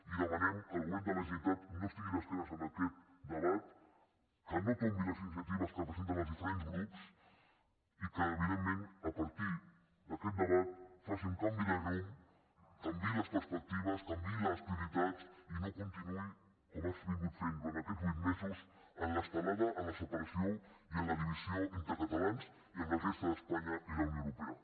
i demanem que el govern de la generalitat no estigui d’esquena a aquest debat que no tombi les iniciatives que presenten els diferents grups i que evidentment a partir d’aquest debat faci un canvi de rumb canviï les perspectives canviï les prioritats i no continuï com ha estat fent durant aquests vuit mesos en l’estelada en la separació i en la divisió entre catalans i amb la resta d’espanya i la unió europea